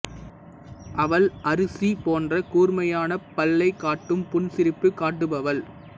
அவள் அரிசி போன்ற கூர்மையான பல்லைக் காட்டும் புன்சிரிப்பு காட்டுபவள்